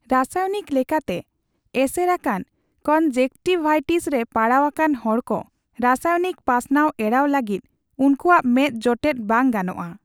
ᱨᱟᱥᱟᱭᱚᱱᱤᱠ ᱞᱮᱠᱟᱛᱮ ᱮᱥᱮᱨᱟᱠᱟᱱ ᱠᱚᱱᱡᱮᱠᱴᱤᱠᱵᱷᱟᱭᱴᱤᱥ ᱨᱮ ᱯᱟᱲᱟᱣ ᱟᱠᱟᱱ ᱦᱚᱲᱠᱚ ᱨᱟᱥᱟᱭᱱᱤᱠ ᱯᱟᱥᱱᱟᱣ ᱮᱲᱟᱣ ᱞᱟᱹᱜᱤᱫ ᱩᱱᱠᱩᱣᱟᱜ ᱢᱮᱫ ᱡᱚᱴᱮᱫ ᱵᱟᱝ ᱜᱟᱱᱚᱜᱼᱟ ᱾